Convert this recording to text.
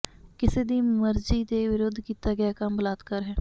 ਕਿਸੇ ਦੀ ਮਰਜ਼ੀ ਦੇ ਵਿਰੁੱਧ ਕੀਤਾ ਗਿਆ ਕੰਮ ਬਲਾਤਕਾਰ ਹੈ